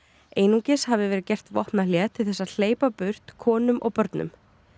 einungis hafi verið gert vopnahlé til þess að hleypa burt konum og börnum